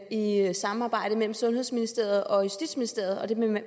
i et samarbejde mellem sundhedsministeriet og justitsministeriet og det nævner